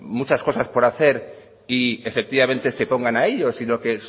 muchas cosas por hacer y efectivamente se pongan a ello sino que